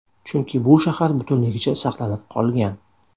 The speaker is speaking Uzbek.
Chunki bu shahar butunligicha saqlanib qolgan.